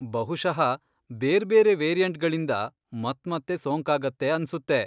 ಬಹುಶಃ ಬೇರ್ಬೇರೆ ವೇರಿಯಂಟ್ಗಳಿಂದ ಮತ್ಮತ್ತೆ ಸೋಂಕಾಗತ್ತೆ ಅನ್ಸುತ್ತೆ.